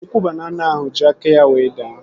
Ukwu banana ahụ ji aka ya wee daa